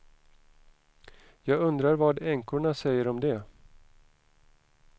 Jag undrar vad änkorna säger om det.